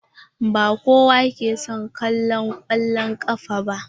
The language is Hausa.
Ba kowa ke son kallo kwallan kafa ba.